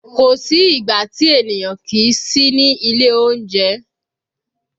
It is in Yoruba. Kò sí ìgbà tí ènìyàn kìí sí ní ilé oúnjẹ